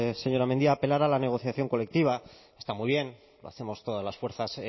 señora mendia apelar a la negociación colectiva está muy bien lo hacemos todas las fuerzas